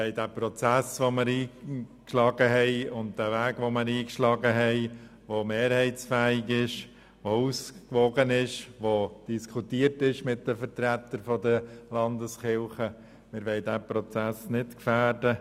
Wir wollen den Weg, den wir eingeschlagen haben, der mehrheitsfähig und ausgewogen ist und der mit den Vertretern der Landeskirchen diskutiert wurde, nicht gefährden.